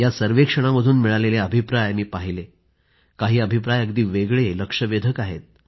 त्या सर्वेक्षणामधून मिळालेले अभिप्राय मी पाहिले काही अभिप्राय अगदी वेगळे लक्षवेधक आहेत